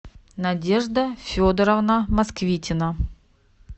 надежда федоровна москвитина